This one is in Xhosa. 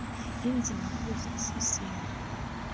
inzima kukuzazi isimo